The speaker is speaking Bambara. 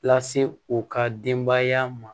Lase u ka denbaya ma